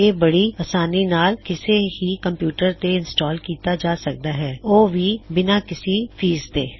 ਇਹ ਬੜੀ ਅਸਾਨੀ ਨਾਲ ਕਿਸੇ ਵੀ ਕੰਪਯੂਟਰ ਤੇ ਇੰਸਟਾਲ ਕੀੱਤਾ ਜਾ ਸਕਦਾ ਹੇ ਉਹ ਵੀ ਬਿਨਾਂ ਕਿਸੀ ਫੀਸ ਤੋਂ